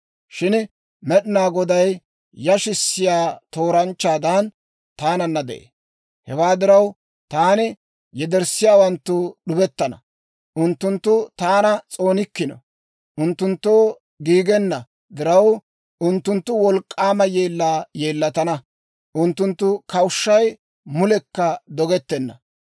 Shin Med'inaa Goday yashissiyaa tooranchchaadan taananna de'ee. Hewaa diraw, taana yederssiyaawanttu d'ubettana; unttunttu taana s'oonikkino. Unttunttoo giigenna diraw, unttunttu wolk'k'aama yeellaa yeellatana. Unttunttu kawushshay mulekka dogettenna.